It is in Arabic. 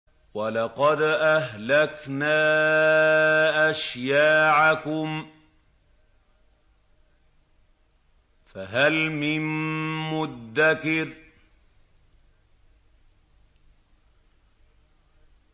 وَلَقَدْ أَهْلَكْنَا أَشْيَاعَكُمْ فَهَلْ مِن مُّدَّكِرٍ